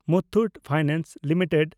Muthoot Finance limited